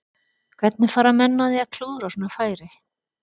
Hvernig fara menn að því að klúðra svona færi?